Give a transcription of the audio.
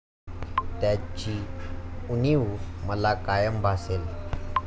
त्यांची उणीव मला कायम भासेल.